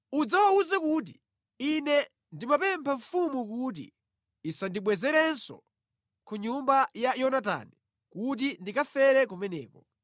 udzawawuze kuti, ‘Ine ndimapempha mfumu kuti isandibwezerenso ku nyumba ya Yonatani kuti ndikafere kumeneko.’ ”